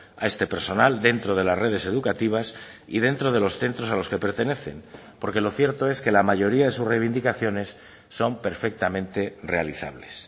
a este personal dentro de las redes educativas y dentro de los centros a los que pertenecen porque lo cierto es que la mayoría de sus reivindicaciones son perfectamente realizables